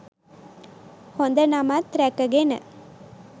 හොඳ නමත් ‍රැකගෙන